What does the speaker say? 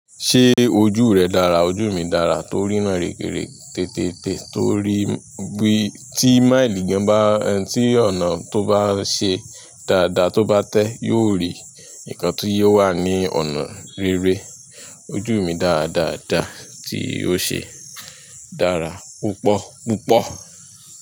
Ṣé ojú rẹ dára? Ojú mi dára to rínà rere tètète torí bí tí máìlì gan ba tí ọ̀nà tó bá ṣe dáadáa tó bá tẹ́ yóò rí nkán tí yóò wà ní ọ̀nà rere. Ojú mi dáadáa dá tí ó ṣe dára púpọ̀púpọ̀.